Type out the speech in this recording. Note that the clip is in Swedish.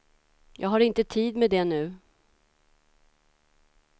Jag har inte tid med det nu.